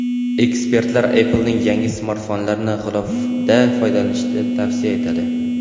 Ekspertlar Apple’ning yangi smartfonlarini g‘ilofda foydalanishni tavsiya etadi.